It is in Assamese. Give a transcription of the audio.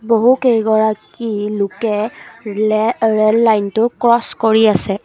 বহুকেইগৰাকী লোকে ৰে ৰেল লাইনটো ক্ৰছ কৰি আছে।